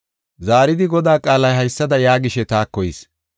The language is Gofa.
Zaaridi Godaa qaalay haysada yaagishe taako yis.